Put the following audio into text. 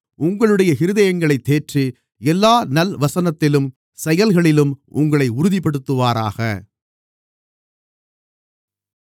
உங்களுடைய இருதயங்களைத் தேற்றி எல்லா நல்வசனத்திலும் செயல்களிலும் உங்களை உறுதிப்படுத்துவாராக